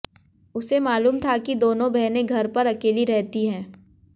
उसे मालूम था कि दोनों बहनें घर पर अकेली रहती हैं